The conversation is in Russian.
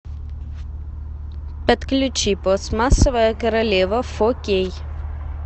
подключи пластмассовая королева фо кей